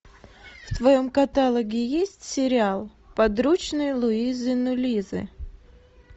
в твоем каталоге есть сериал подручные луизы нулизы